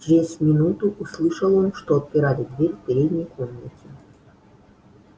чрез минуту услышал он что отпирали дверь в передней комнате